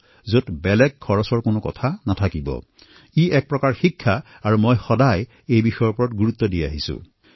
ইয়াৰ বাবে কোনো অতিৰিক্ত খৰচো নহয় আৰু এইদৰে ই শিক্ষাৰ এটা পৰ্যায়লৈ ৰূপান্তৰিত হয় মই সদায়েই ইয়াৰ বাবে আগ্ৰহ প্ৰকাশ কৰোঁ